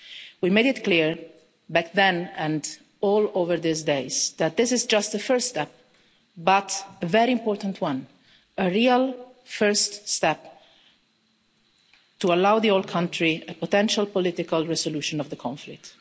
We made it clear back then and over all these days, that this is just the first step, but a very important one a real first step to allow the whole country a potential political resolution of the conflict.